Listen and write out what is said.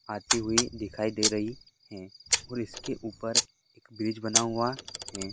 आती हुई दिखाई दे रही है और इसके ऊपर एक ब्रिज बना हुआ है।